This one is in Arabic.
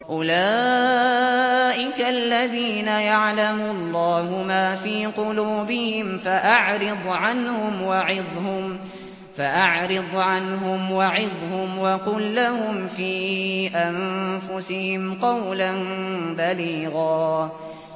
أُولَٰئِكَ الَّذِينَ يَعْلَمُ اللَّهُ مَا فِي قُلُوبِهِمْ فَأَعْرِضْ عَنْهُمْ وَعِظْهُمْ وَقُل لَّهُمْ فِي أَنفُسِهِمْ قَوْلًا بَلِيغًا